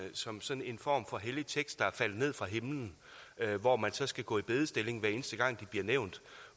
som sådan en form for hellig tekst der er faldet ned fra himlen hvor man så skal gå i bedestilling hver eneste gang de bliver nævnt